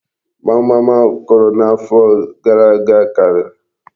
Gbamgbam akụrụ n'afọ gara aga karịrị.